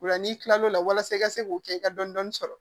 Ola n'i kilal'o la walasa i ka se k'o kɛ i ka dɔni sɔrɔ